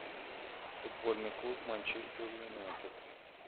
футбольный клуб манчестер юнайтед